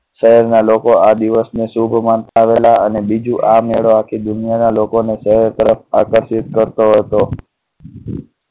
શહેરના લોકો આ દિવસને શુભ આવેલા અને બીજું આ મેળા કી દુનિયા ના લોકોને શહેર તરફ આકર્ષિત કરતો હતો.